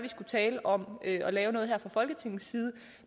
tale om at lave noget her fra folketingets side